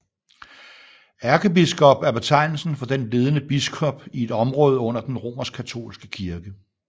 Ærkebiskop er betegnelsen for den ledende biskop i et område under den romerskkatolske kirke